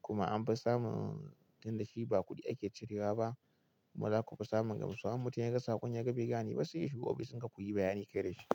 kuma an fi samun don da shi ba kuɗi ake cirewa ba. Kuma zaku fi samun gamsuwa. In mutum yaga saƙon ya ga bai gane ba sai ya shigo ofis in ka kuyi bayani kai da shi.